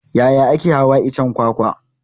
Yaya ake hawan iccen kwakwa?